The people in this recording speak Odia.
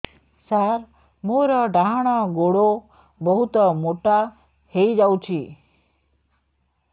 ସାର ମୋର ଡାହାଣ ଗୋଡୋ ବହୁତ ମୋଟା ହେଇଯାଇଛି